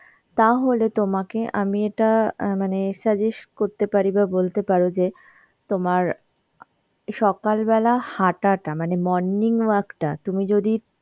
তাহলে তোমাকে আমি এটা অ্যাঁ মানে suggest করতে পারি বা বলতে পারো যে তোমার সকালবেলা হাঁটাটা মানে morning walk টা তুমি যদি